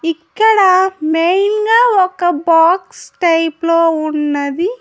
ఇక్కడ మెయిన్ గా ఒక బాక్స్ టైప్ లో ఉన్నది.